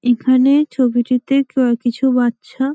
এখানে ছবিটিতে ক কিছু বাচ্চা --